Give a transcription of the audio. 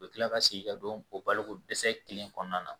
U bɛ kila ka segin ka don o baloko dɛsɛ kelen kɔnɔna na